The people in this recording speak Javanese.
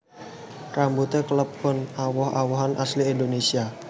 Rambutan kalebu woh wohan asli Indonésia